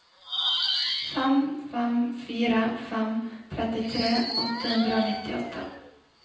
fem fem fire fem trettitre åtte hundre og nittiåtte